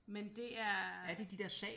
Men det er